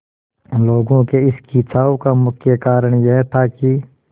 लोगों के इस खिंचाव का मुख्य कारण यह था कि